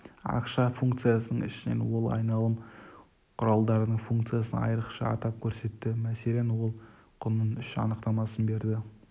ақша функциясының ішінен ол айналым құралдарының функциясын айрықша атап көрсетті мәселен ол құнның үш анықтамасын берді